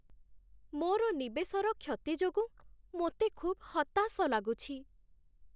ମୋର ନିବେଶର କ୍ଷତି ଯୋଗୁଁ ମୋତେ ଖୁବ୍ ହତାଶ ଲାଗୁଛି।